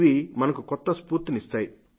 ఇవి మనకు కొత్త స్ఫూర్తిని ఇస్తాయి